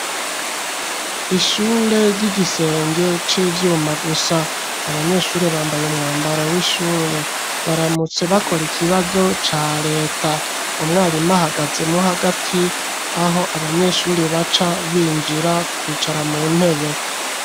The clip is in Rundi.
Ishure, ry'igisenge c'ivyuma gusa, abanyeshure, bambaye umwambaro w'ishure, baramutse bakora ikibazo ca leta; umwarimu ahagazemwo hagati, aho abanyeshure baca,